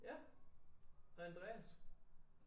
Ja og Andreas